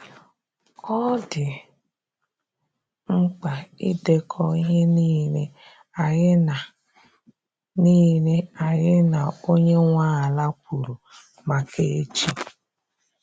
Ọ dị mkpa idekọ ihe nile anyi na nile anyi na onye nwa ala kwuru maka echi